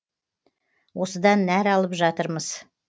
осыдан нәр алып жатырмыз